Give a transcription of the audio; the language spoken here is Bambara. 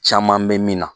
Caman bɛ min na